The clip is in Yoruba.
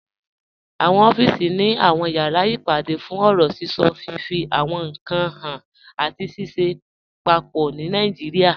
Awọn ọ̀fíìsì ni awọn yàrá ìpàdé fún ọ̀rọ̀ síṣọ, fifí àwọn ìnkan háàn, àti ṣìṣẹ̀ pápọ̀ ní Nàìjíríà.